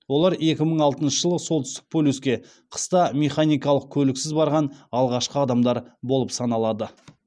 олар екі мың алтыншы жылы солтүстік полюске қыста механикалық көліксіз барған алғашқы адамдар болып саналады